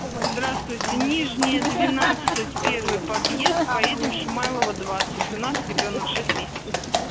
здравствуйте нижняя двенадцать первый подъезд поедем шумайлова двадцать у нас ребёнок шесть месяцев